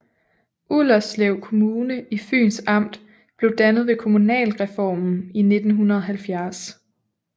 Ullerslev Kommune i Fyns Amt blev dannet ved kommunalreformen i 1970